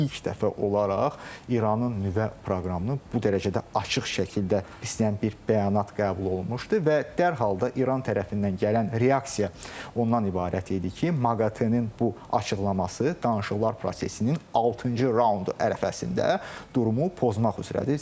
İlk dəfə olaraq İranın nüvə proqramını bu dərəcədə açıq şəkildə istəyən bir bəyanat qəbul olunmuşdu və dərhal da İran tərəfindən gələn reaksiya ondan ibarət idi ki, MAQATE-nin bu açıqlaması danışıqlar prosesinin altıncı raundu ərəfəsində durumu pozmaq üzrədir.